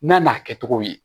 N'a n'a kɛcogo ye